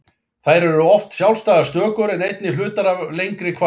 Þær eru oft sjálfstæðar stökur en einnig hlutar af lengri kvæðum.